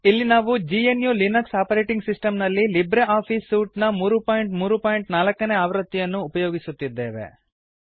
ಇಲ್ಲಿ ನಾವು G N U Linux operating system ನಲ್ಲಿ ಲಿಬ್ರೆ ಆಫೀಸ್ ಸೂಟ್ ನ 334 ನೇ ಆವೃತ್ತಿಯನ್ನು ಉಪಯೋಗಿಸುತ್ತಿದ್ದೇವೆ